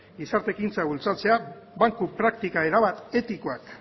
gizarte ekintza bultzatzea banku praktika erabat etikoak